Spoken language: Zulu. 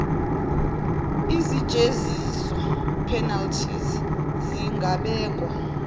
izijeziso penalties zingabekwa